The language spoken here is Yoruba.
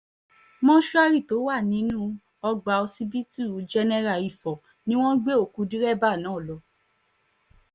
mòṣùárì tó wà nínú ọgbà ọsibítù jẹ́nẹ́ra ifo ni wọ́n gbé òkú dẹ́rẹ́bà náà lọ